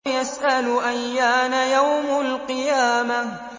يَسْأَلُ أَيَّانَ يَوْمُ الْقِيَامَةِ